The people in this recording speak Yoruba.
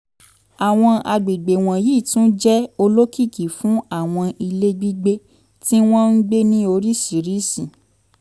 àwọn àgbègbè wọ̀nyí tún jẹ́ olokiki fún àwọn ilé gbígbé tí wọ́n ń gbé ní oríṣiríṣi